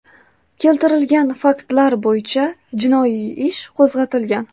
Keltirilgan faktlar bo‘yicha jinoiy ish qo‘zg‘atilgan.